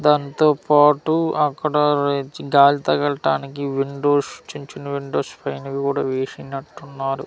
దాంతోపాటు అక్కడ వెచ్ గాలి తగలటానికి విండోస్ చిన్నచిన్న విండోస్ పైనవి కూడా వేసినట్టున్నారు.